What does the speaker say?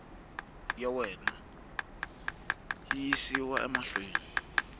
ya wena yi yisiwa mahlweni